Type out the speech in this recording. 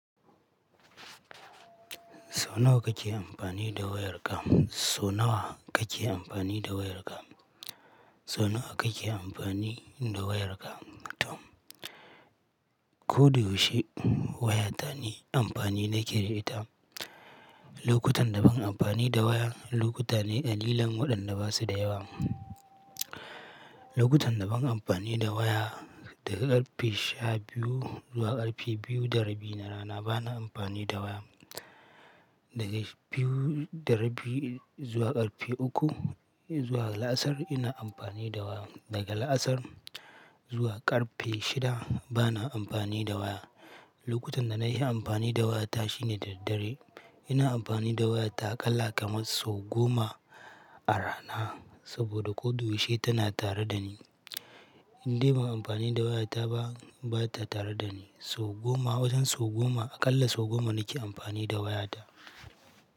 So nawa kake amfani da wayarka? So nawa kake amfani da wayarka? So nawa kake amfani da wayarka Tom? Ko da yaushe waya ta ni amfani na ke da ita. Lokutan da ban amfani da waya, lokuta ne ƙalilan waɗanne basu da yawa. Lokutan da ban amfani da waya, daga ƙarfe shabiyu zuwa ƙarfe biyu da rabi na rana bana amfani da waya. Daga biyu da rabi zuwa ƙarfe uku zuwa la'asar ina amfani da waya. Daga la'asar zuwa ƙarfe shida bana amfani da waya. Lokutan da nayi amfani da waya ta shine da daddare. Ina amfani da waya ta aƙalla kamar sau goma a rana saboda ko duk yaushe tana tare dani. Indai ban amfani da waya ta ba, bata tare dani. Sau goma, wajen sau goma, aƙalla sau goma nake amfani da waya ta.